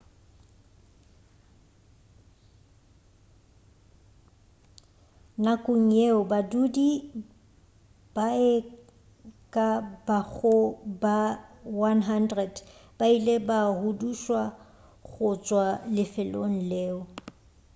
nakong yeo badudi ba e ka bago ba 100 ba ile ba hudušwa go tšwa lefelong leo